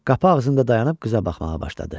Qapı ağzında dayanıb qıza baxmağa başladı.